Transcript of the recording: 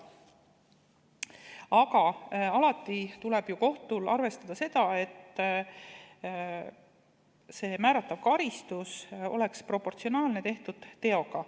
Aga alati tuleb ju kohtul arvestada seda, et määratav karistus oleks proportsionaalne tehtud teoga.